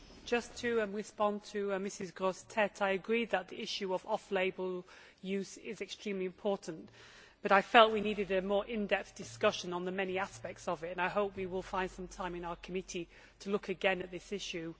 Madam President, just to respond to Mrs Grossetête, I agree that the issue of off label use is extremely important, but I felt we needed a more in depth discussion on the many aspects of it and I hope we will find some time in our committee to look again at this issue.